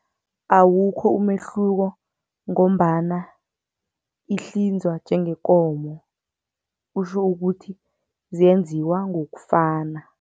Awukho umehluko ngombana ihlinzwa njengenkomo kutjho ukuthi zenziwa ngokufana.